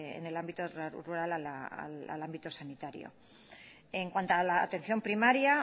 en el ámbito rural al ámbito sanitario en cuanto a la atención primaria